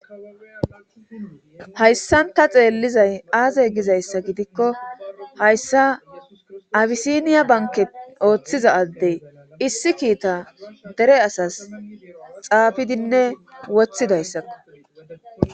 hayssan ta xeellizay aazey gizayssa gidikko hayssa abisiniya banken ooththiza addey issi kiita dere asas xaafidinne woththi dayssakko